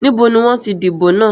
Níbo ni wọn ti dìbò náà?